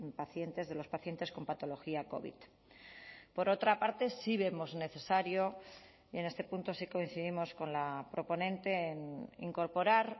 pacientes de los pacientes con patología covid por otra parte sí vemos necesario y en este punto sí coincidimos con la proponente en incorporar